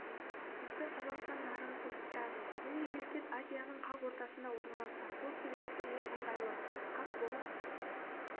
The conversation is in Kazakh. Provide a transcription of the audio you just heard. бізді қазақстан нарығы қызықтырады бұл мемлекет азияның қақ ортасында орналасқан сол себепті ол ыңғайлы хаб бола